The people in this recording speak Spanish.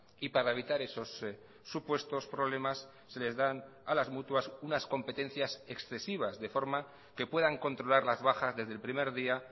y para evitar esos supuestos problemas se les dan a las mutuas unas competencias excesivas de forma que puedan controlar las bajas desde el primer día